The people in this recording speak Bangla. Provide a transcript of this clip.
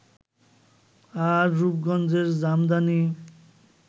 আর রূপগঞ্জের জামদানি